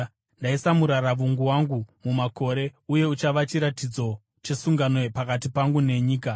Ndaisa muraravungu wangu mumakore, uye uchava chiratidzo chesungano pakati pangu nenyika.